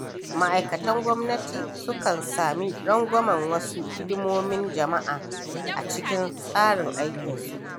Ma’aikatan gwamnati sukan sami rangwamen wasu hidimomin jama’a, a cikin tsarin aikinsu.